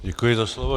Děkuji za slovo.